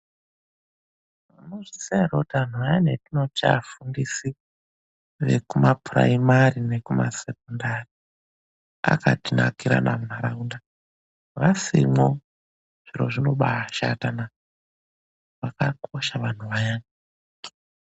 Munozviya here kuti antu aya vetinoti vafundisi vekumapuraimari nekumasekondari akatinakira munharaunda. Vasimwo zviro zvinobashata naa! Vakakosha vanhu vaya.